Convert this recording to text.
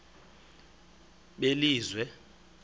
belizwe